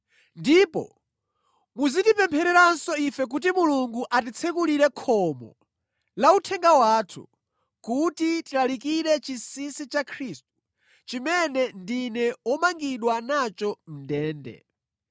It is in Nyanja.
Ndipo muzitipemphereranso ife kuti Mulungu atitsekulire khomo la uthenga wathu, kuti tilalikire chinsinsi cha Khristu, chimene ndine womangidwa nacho mʼndende.